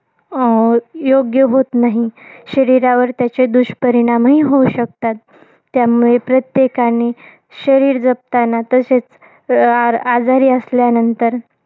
योग्य होत नाही. शरीरावर त्याचे दुष्परिणाम ही होऊ शकतात. त्यामुळे, प्रत्येकाने शरीर जपतांना, तसेच आ आजारी असल्यानंतर,